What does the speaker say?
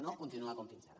no continuar com fins ara